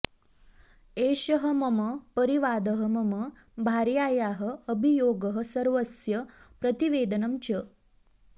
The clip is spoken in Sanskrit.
एषः मम परिवादः मम भार्यायाः अभियोगः सर्वस्य प्रतिवेदनम् च